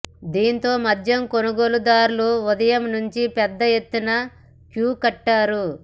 దీంతో మద్యం కొనుగోలు దారులు ఉదయం నుంచి పెద్ద ఎత్తున క్యూ కట్టారు